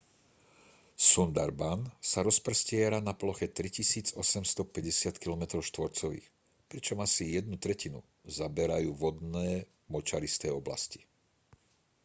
sundarban sa rozprestiera na ploche 3 850 km² pričom asi jednu tretinu zaberajú vodné/močaristé oblasti